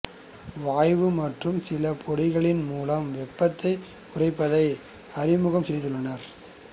வாயு மற்றும் சில பொடிகளின் மூலம் வெப்பத்தைக் குறைப்பதை அறிமுகம் செய்துள்ளனர்